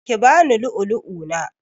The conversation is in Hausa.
Ki bani lu'ulu'u na!